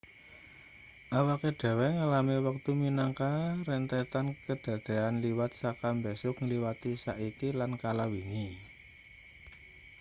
awake dhewe ngalami wektu minangka rentetan kadadean liwat saka mbesuk ngliwati saiki lan kala wingi